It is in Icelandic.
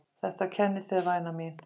Þetta kennir þér væna mín!!!!!